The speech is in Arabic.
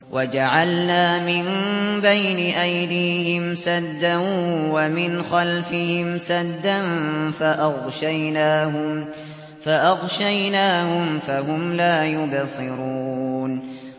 وَجَعَلْنَا مِن بَيْنِ أَيْدِيهِمْ سَدًّا وَمِنْ خَلْفِهِمْ سَدًّا فَأَغْشَيْنَاهُمْ فَهُمْ لَا يُبْصِرُونَ